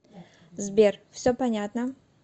сбер все понятно